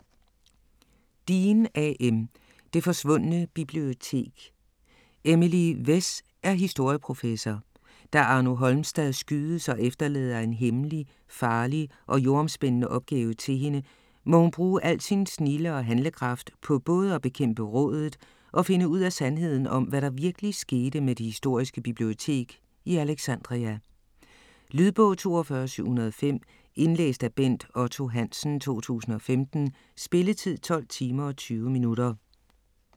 Dean, A. M.: Det forsvundne bibliotek Emily Wess er historieprofessor. Da Arno Holmstad skydes og efterlader en hemmelig, farlig og jordomspændende opgave til hende, må hun brug al sin snilde og handlekraft på både at bekæmpe "Rådet" og finde ud af sandheden om, hvad der virkeligt skete med det historiske bibliotek i Alexandria. Lydbog 42705 Indlæst af Bent Otto Hansen, 2015. Spilletid: 12 timer, 20 minutter.